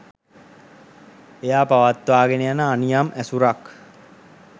එයා පවත්වාගෙන යන අනියම් ඇසුරක්